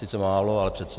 Sice málo, ale přece.